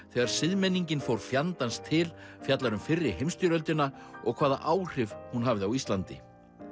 þegar siðmenningin fór fjandans til fjallar um fyrri heimsstyrjöldina og hvaða áhrif hún hafði á Íslandi